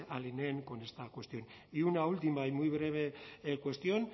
alineen con esta cuestión y una última y muy breve cuestión